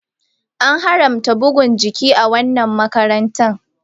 An haramta bugun jiki a wannan makaranta.